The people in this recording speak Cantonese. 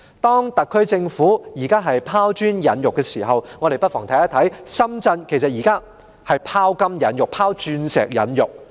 當特區政府拋磚引玉之際，我們看到深圳現時其實已在"拋金引玉"、"拋鑽引玉"。